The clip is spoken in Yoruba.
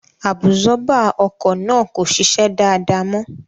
Àbùsọ́bà ọkọ̀ náà kò ṣiṣẹ́ dáadáa mọ́